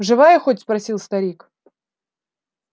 живая хоть спросил старик